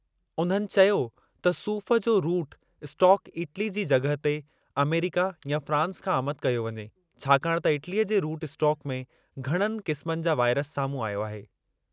उन्हनि चयो त सूफ़ु जो रूट स्टोक इटली जी जॻहि ते अमरिका या फ्रांस खां आमदि कयो वञे छाकाणि त इटलीअ जे रूट स्टोक में घणनि क़िस्मनि जा वाइरस साम्हूं आयो आहे।